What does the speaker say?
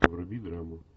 вруби драму